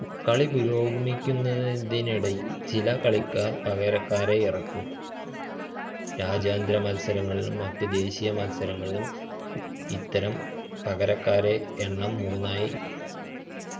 കളി പുരോഗമിക്കുനതിനിടയിൽ ചില കളിക്കാർക് പകരക്കാരെ ഇറക്കാം രാജ്യാന്തര മത്സരങ്ങളിലും മറ്റ് ദേശിയ മത്സരങ്ങളിലും ഇത്തരം പകരക്കാരുടെ എണ്ണം മൂന്നായ